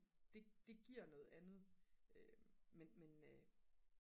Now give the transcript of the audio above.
det giver noget andet men